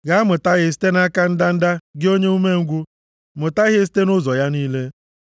Gaa mụta ihe site nʼaka ndanda, gị onye umengwụ. Mụta ihe site nʼụzọ ya niile.